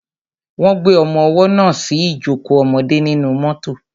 Wọ́n gbé ọmọwọ́ náà sí ìjókò ọmọdé nínú mọ́tọ̀.